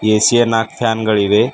AC ಯ ನಾಕ್ fan ಗಳಿವೆ.